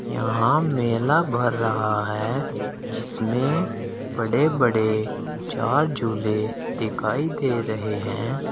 यहां मेला भर रहा है जिसमें बड़े बड़े चार झूले दिखाई दे रहे हैं।